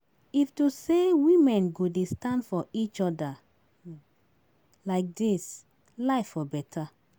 If to say women go dey stand for each other like dis, life for better